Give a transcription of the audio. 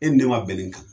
E ni ne ma bɛn ni kan